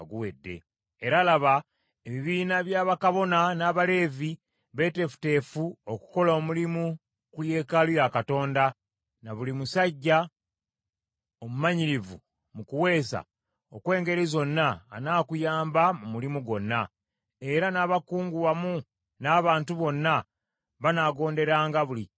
Era, laba, ebibiina bya bakabona n’Abaleevi beeteefuteefu okukola omulimu ku yeekaalu ya Katonda, na buli musajja omumanyirivu mu kuweesa okw’engeri zonna anaakuyamba mu mulimu gwonna. Era n’abakungu wamu n’abantu bonna banaagonderanga buli kiragiro kyo.”